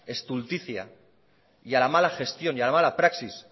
estulticia y a la mala gestión y a la mala praxis